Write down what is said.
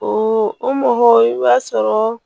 O o mɔgɔ i b'a sɔrɔ